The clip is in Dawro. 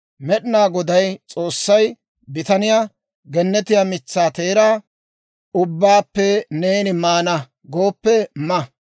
Med'inaa Goday S'oossay bitaniyaa, «Gennetiyaa mitsaa teeraa ubbaappe neeni maana gooppe ma;